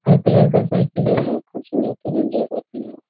हरे colour का cycle है बहुत खूबसूरत है रेंजर साइकिल --